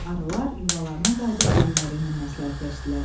Arılar yuvalarına qayıdıb böyükləri ilə məsləhətləşdilər.